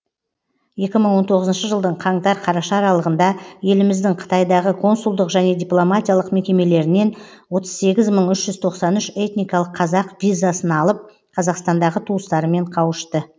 екі мың он тоғызыншы жылдың қаңтар қараша аралығында еліміздің қытайдағы консулдық және дипломатиялық мекемелерінен отыз сегіз мың үш жүз тоқсан үш этникалық қазақ визасын алып қазақстандағы туыстарымен қауышты